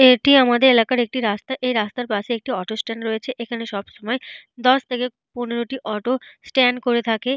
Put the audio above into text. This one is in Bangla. এটি আমাদের এলাকার একটি রাস্তা। এই রাস্তার পাশে একটি অটো স্ট্যান্ড রয়েছে। এখানে সব সময় দশ থেকে পনেরটি অটো স্ট্যান্ড করে থাকে।